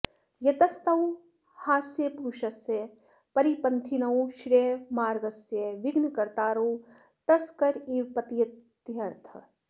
यतस्तौ ह्यस्य पुरुषस्य परिपन्थिनौ श्रेयोमार्गस्य विघ्नकर्तारौ तस्कराविव पतीत्यर्थः